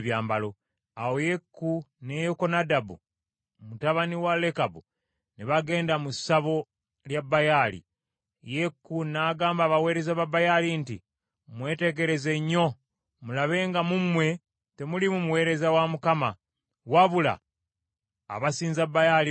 Awo Yeeku ne Yekonadabu mutabani wa Lekabu ne bagenda mu ssabo lya Baali. Yeeku n’agamba abaweereza ba Baali nti, “Mwetegereze nnyo mulabe nga mu mmwe temuliimu muweereza wa Mukama , wabula abasinza Baali bokka.”